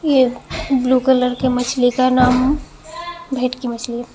blue colour के मछली का नाम भीट की मछली--